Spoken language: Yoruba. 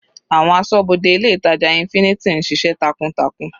Àwọn asọ́bodè ilé ìtàjà infinity ń ṣiṣẹ́ takuntakun.